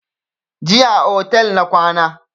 Jiya a otel na kwana